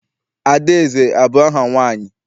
Adaeze abụ aha nwaanyị?